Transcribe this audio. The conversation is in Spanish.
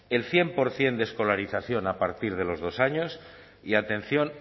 el cien por ciento de escolarización a partir de los dos años y atención